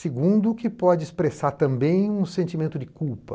Segundo, que pode expressar também um sentimento de culpa.